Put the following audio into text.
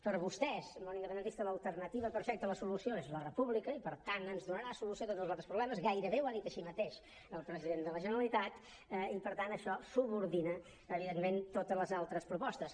per vostès el món independentista l’alternativa perfecta la solució és la república i per tant ens donarà solució a tots els altres problemes gairebé ho ha dit així mateix el president de la generalitat i per tant això subordina evidentment totes les altres propostes